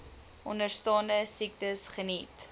onderstaande siektes geniet